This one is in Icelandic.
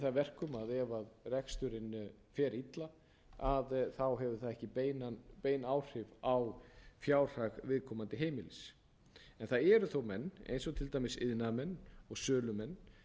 það að verkum að ef reksturinn fer illa þá hefur það ekki bein áhrif á fjárhag viðkomandi heimilis en það eru þó menn eins og til dæmis iðnaðarmenn og sölumenn